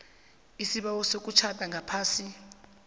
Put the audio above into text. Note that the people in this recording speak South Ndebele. isibawo sokutjhada ngaphasi